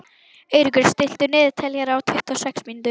Eiríkur, stilltu niðurteljara á tuttugu og sex mínútur.